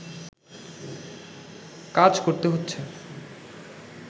কাজ করতে হচ্ছে